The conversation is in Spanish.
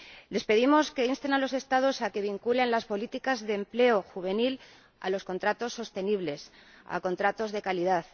Les pedimos que insten a los Estados a que vinculen las políticas de empleo juvenil a los contratos sostenibles, a contratos de calidad.